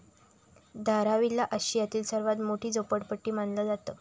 धारावीला आशियातील सर्वात मोठी झोपडपट्टी मानलं जातं.